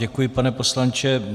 Děkuji, pane poslanče.